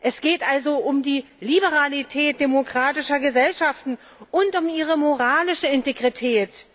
Es geht also um die Liberalität demokratischer Gesellschaften und um ihre moralische Integrität.